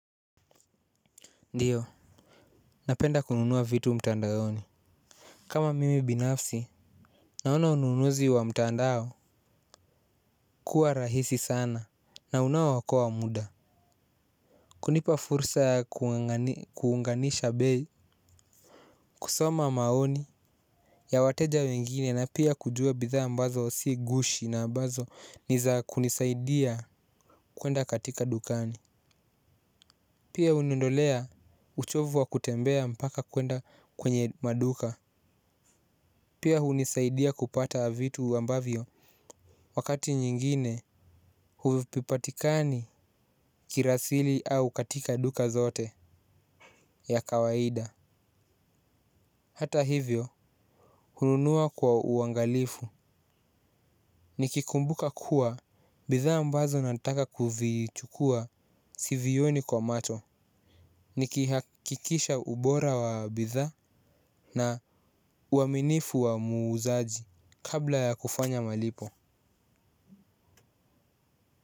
Ndiyo, napenda kununua vitu mtandaoni. Kama mimi binafsi naona ununuzi wa mtandao kuwa rahisi sana. Na unao okoa muda. Kunipa fursa ya kuunganisha bei. Kusoma maoni ya wateja wengine na pia kujua bidhaa ambazo si gushi na ambazo niza kunisaidia kuenda katika dukani. Pia uniondolea uchovu wa kutembea mpaka kuenda kwenye maduka. Kunipa fursa ya kuunganisha bei wakati nyingine huvipipatikani kirasili au katika duka zote ya kawaida. Hata hivyo hununua kwa uangalifu nikikumbuka kuwa bidhaa ambazo nataka kuvichukua sivioni kwa macho. Nikihakikisha ubora wa bidhaa na uaminifu wa muuzaji kabla ya kufanya malipo.